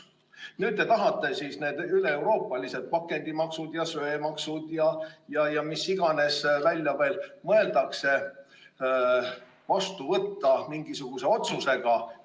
Nüüd te tahate need üleeuroopalised pakendimaksud ja söemaksud ja mis iganes veel välja mõeldakse mingisuguse otsusega vastu võtta.